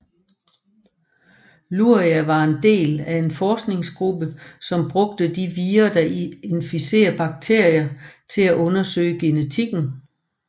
Luria var en del af en forskningsgruppe som brugte de vira der inficerer bakterier til at undersøge genetikken